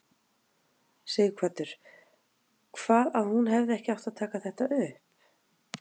Sighvatur: Hvað að hún hefði ekki átt að taka þetta upp?